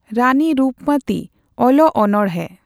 ᱨᱟᱱᱤᱨᱩᱯᱢᱟᱛᱤ ᱚᱞᱚᱜ ᱚᱱᱚᱬᱦᱮ.᱾